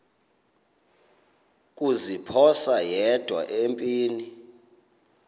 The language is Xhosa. kuziphosa yedwa empini